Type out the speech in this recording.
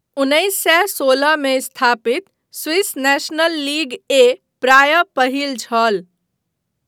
उन्नैस सए सोलहमे स्थापित स्विस नेशनल लीग ए प्राय पहिल छल।